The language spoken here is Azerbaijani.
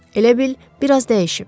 Elə bil bir az dəyişib.